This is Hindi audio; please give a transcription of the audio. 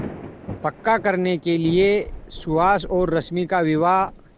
पक्का करने के लिए सुहास और रश्मि का विवाह